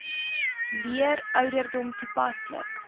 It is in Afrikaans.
leer ouderdom toepaslik